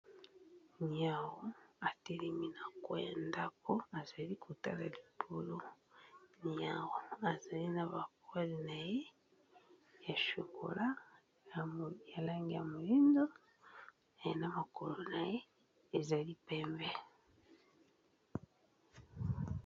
Niawu, a telemi na coin ya ndaku a zali ko tala likolo. Niawu a zali na ba poiles na ye ya chocolat ya langi ya moyindo, na makolo na ye ezali pembe .